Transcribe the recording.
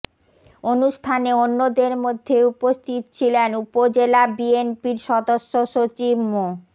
অনুষ্ঠানে অন্যদের মধ্যে উপস্থিত ছিলেন উপজেলা বিএনপির সদস্য সচিব মো